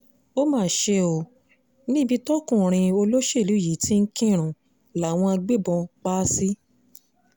ó mà ṣe ọ́ níbi tọkùnrin olóṣèlú yìí ti ń kírun làwọn agbébọn pa á sí